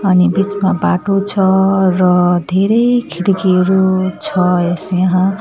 अनि बीचमा बाटो छ र धेरै खिड्कीहरू छ यस यहाँ।